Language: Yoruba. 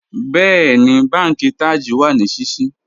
Bẹ̀ẹni, bánkì Taj wa ní síṣí